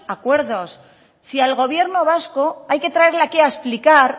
acuerdos si al gobierno vasco hay que traerle aquí a explicar